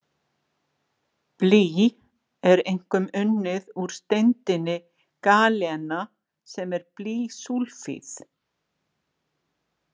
Blý er einkum unnið úr steindinni galena sem er blýsúlfíð.